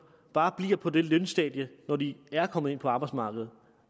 bare bliver på det samme lønstadie når de er kommet ind på arbejdsmarkedet